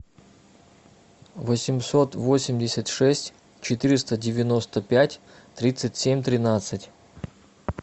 восемьсот восемьдесят шесть четыреста девяносто пять тридцать семь тринадцать